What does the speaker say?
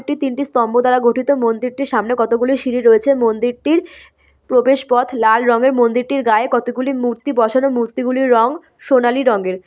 এটি তিনটি স্তম্ভ দ্বারা গঠিত মন্দিরটির সামনে কতো গুলি সিঁড়ি রয়েছে | মন্দিরটির প্রবেশ পথ লাল রঙের মন্দিরটির গায়ে কতো গুলি মূর্তি বসানো মূর্তিগুলির রং সোনালী রঙের ।